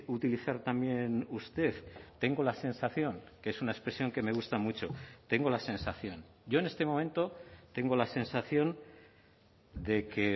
utilizar también usted tengo la sensación que es una expresión que me gusta mucho tengo la sensación yo en este momento tengo la sensación de que